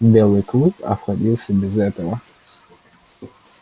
белый клык обходился без этого